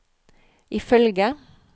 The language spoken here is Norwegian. ifølge